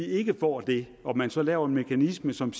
ikke får det og man så laver en mekanisme som